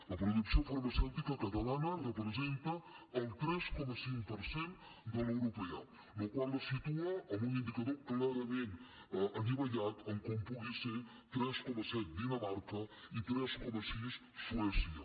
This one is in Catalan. la producció farmacèutica catalana representa el tres coma cinc per cent de l’europea la qual cosa la situa en un indicador clarament anivellat a com pugui ser tres coma set dinamarca i tres coma sis suècia